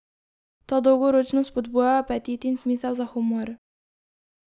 Ta dolgoročno spodbuja apetit in smisel za humor.